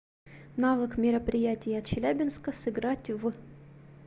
навык мероприятия челябинска сыграть в